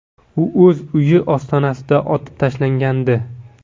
U o‘z uyi ostonasida otib tashlangandi”.